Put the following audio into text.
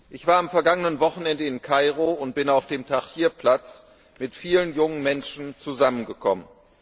Ich war am vergangenen Wochenende in Kairo und bin auf dem Tahrir Platz mit vielen jungen Menschen zusammengekommen.